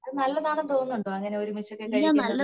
അത് നല്ലതാണെന്ന് തോന്നുണ്ടോ അങ്ങനൊരു മിശ്രിതം കഴിക്കുന്നത്